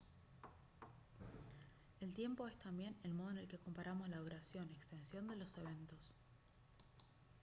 el tiempo es también el modo en el que comparamos la duración extensión de los eventos